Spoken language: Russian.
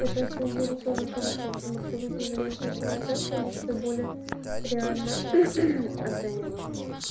это на самом деле тоже хорошо потому что люди с заниженной самооценкой они себя более реально оценивают